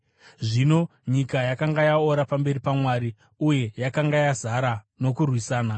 Zvino nyika yakanga yaora pamberi paMwari uye yakanga yazara nokurwisana.